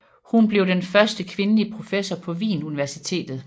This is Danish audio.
Hun blev den første kvindelige professor på Wien Universitet